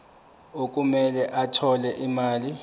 okumele athole imali